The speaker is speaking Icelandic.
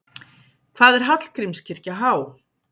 Hvað er Hallgrímskirkja há?